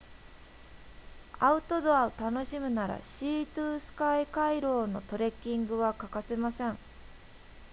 アウトドアを楽しむならシートゥスカイ回廊のトレッキングは欠かせません